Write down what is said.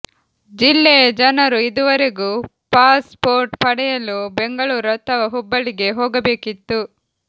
ಜಿಲ್ಲೆಯ ಜನರು ಇದುವರೆಗೂ ಪಾಸ್ ಪೋರ್ಟ್ ಪಡೆಯಲು ಬೆಂಗಳೂರು ಅಥವಾ ಹುಬ್ಬಳ್ಳಿಗೆ ಹೋಗಬೇಕಿತ್ತು